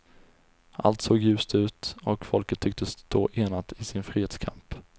Allt såg ljust ut, och folket tycktes stå enat i sin frihetskamp.